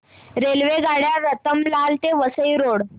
रेल्वेगाड्या रतलाम ते वसई रोड